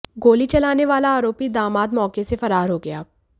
गोली चलाने वाला आरोपी दामाद मौके से फरार हो गया